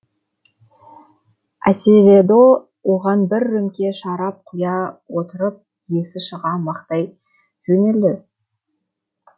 асеведо оған бір рөмке шарап құя отырып есі шыға мақтай жөнелді